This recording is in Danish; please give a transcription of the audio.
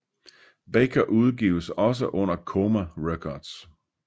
Baker udgives også under Coma Records